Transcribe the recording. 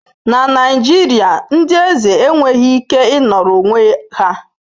Na Naijiria, ndị eze enweghị ike ịnọrọ onwe ha.